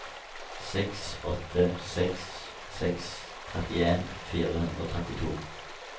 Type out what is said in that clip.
seks åtte seks seks trettien fire hundre og trettito